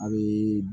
A bɛ